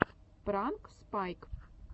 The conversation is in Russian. пранк спайк